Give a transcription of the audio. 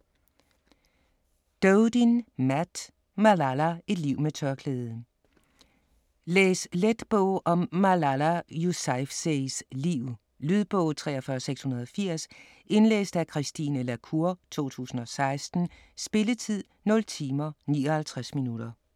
Doeden, Matt: Malala: et liv med tørklæde Læs let bog om Malala Yousafzais liv. Lydbog 43680 Indlæst af Christine la Cour, 2016. Spilletid: 0 timer, 59 minutter.